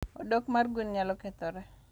Odok mar gwen nyalo kethore.